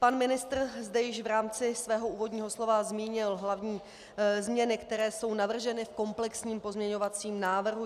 Pan ministr zde již v rámci svého úvodního slova zmínil hlavní změny, které jsou navrženy v komplexním pozměňovacím návrhu.